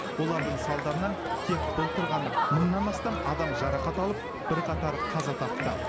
олардың салдарынан тек былтыр ғана мыңнан астам адам жарақат алып бірқатары қаза тапты